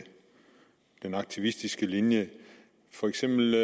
den aktivistiske linje for eksempel